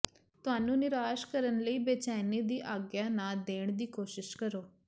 ਤੁਹਾਨੂੰ ਨਿਰਾਸ਼ ਕਰਨ ਲਈ ਬੇਚੈਨੀ ਦੀ ਆਗਿਆ ਨਾ ਦੇਣ ਦੀ ਕੋਸ਼ਿਸ਼ ਕਰੋ